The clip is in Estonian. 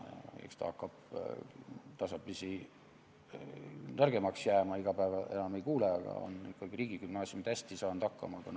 Eks see tagasiside hakkab tasapisi nõrgemaks jääma, iga päev enam seda ei kuule, aga ikkagi saan öelda, et riigigümnaasiumid on hästi hakkama saanud.